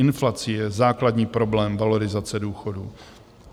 Inflace je základní problém valorizace důchodů.